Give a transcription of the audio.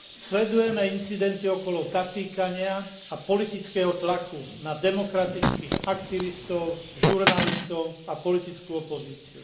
Sledujeme incidenty okolo zatýkania a politického tlaku na demokratických aktivistov, žurnalistov a politickú opozíciu.